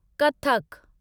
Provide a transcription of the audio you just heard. Kathak